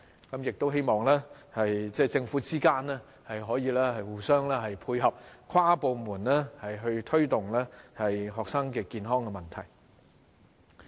我亦希望政府部門之間可以互相配合，跨部門推動學生健康的問題。